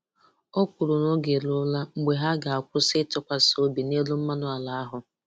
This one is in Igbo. O kwuru na oge eruola mgbe ha ga-akwụsị ịtụkwasị obi n'elu mmanụ ala ahụ.